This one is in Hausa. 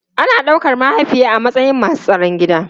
Ana daukar mahaifiya a matsayin masu tsaron gida.